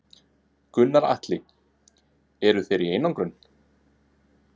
Gunnar Atli: Eru þeir í einangrun?